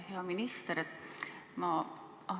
Hea minister!